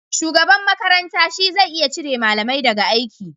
Shugaban makaranta shi zai iya cire malamai da ga aiki